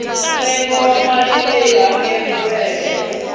ntsengo wa mali leyi hakeriwaka